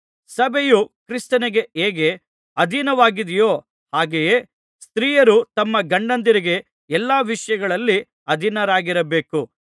ಸಭೆಯು ಕ್ರಿಸ್ತನಿಗೆ ಹೇಗೆ ಅಧೀನವಾಗಿದೆಯೋ ಹಾಗೆಯೇ ಸ್ತ್ರೀಯರು ತಮ್ಮ ಗಂಡಂದಿರಿಗೆ ಎಲ್ಲಾ ವಿಷಯಗಳಲ್ಲಿ ಅಧೀನರಾಗಿರಬೇಕು